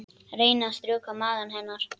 Reyni að strjúka maga hennar.